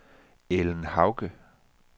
Ellen Hauge